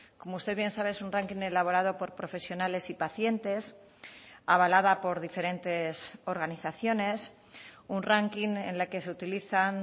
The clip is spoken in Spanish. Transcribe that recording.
como usted bien sabe es un ranking elaborado por profesionales y pacientes avalada por diferentes organizaciones un ranking en la que se utilizan